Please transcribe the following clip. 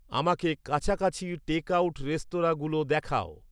আমাকে কাছাকাছি টেকআউট রেস্তরাঁগুলো দেখাও